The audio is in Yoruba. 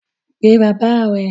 Pe baba rẹ!